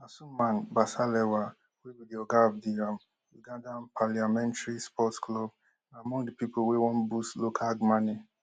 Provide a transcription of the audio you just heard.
asuman basalirwa wey be di oga of di um ugandan parliamentary sports club na among di pipo wey wan boost local mane